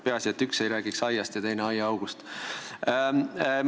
Peaasi, et üks ei räägiks aiast ja teine aiaaugust.